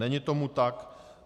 Není tomu tak.